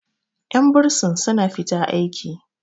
yan bursin suna fita aiki